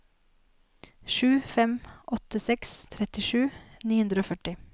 sju fem åtte seks trettisju ni hundre og førti